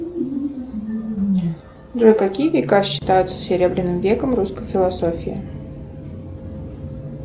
джой какие века считаются серебряным веком русской философии